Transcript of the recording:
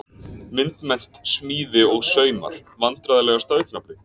Myndmennt, smíði og saumar Vandræðalegasta augnablik?